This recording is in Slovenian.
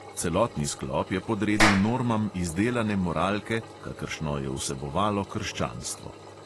Celotni sklop je podredil normam izdelane moralke, kakršno je vsebovalo krščanstvo.